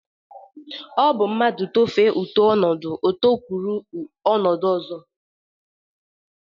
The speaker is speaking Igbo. O bu mrnadu tofee otu onodo o tokwuru onodo ozo.